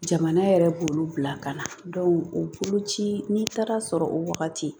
Jamana yɛrɛ b'olu bila ka na o boloci n'i taara sɔrɔ o wagati